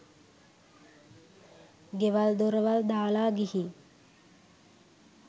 ගෙවල් දොරවල් දාලා ගිහින්